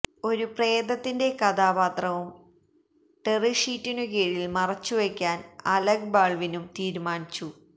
ഒരു പ്രേതത്തിന്റെ കഥാപാത്രവും ടെറി ഷീറ്റിനു കീഴിൽ മറച്ചുവെയ്ക്കാൻ അലക് ബാൾവിനും തീരുമാനിച്ചു